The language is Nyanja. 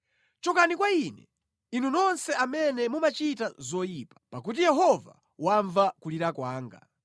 Chokani kwa ine inu nonse amene mumachita zoyipa, pakuti Yehova wamva kulira kwanga.